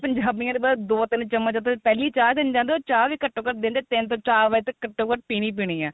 ਪੰਜਾਬੀਆ ਦੇ ਦੋ ਤਿੰਨ ਚਮਚ ਪਹਿਲੇ ਈ ਚਾਹ ਦੇਣ ਜਾਂਦੇ ਉਹ ਚਾਹ ਵੀ ਘੱਟੋ ਘੱਟ ਦਿਨ ਦੇ ਤਿੰਨ ਤੋ ਚਾਰ ਵਾਰ ਘੱਟੋ ਘੱਟ ਪੀਣੀ ਈ ਪੀਣੀ ਏ